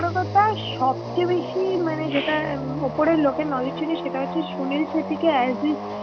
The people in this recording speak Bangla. বড় কথা সবচে বেশি মানে যেটা অপরের লোকের সুনীল সেটটিকে